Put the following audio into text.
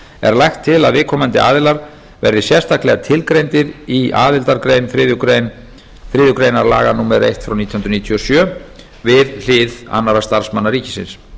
er lagt til að viðkomandi aðilar verði sérstaklega tilgreindir í aðildargrein þriðju grein laga númer eitt nítján hundruð níutíu og sjö við hlið annarra starfsmanna ríkisins